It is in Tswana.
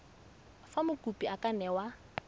fa mokopi a ka newa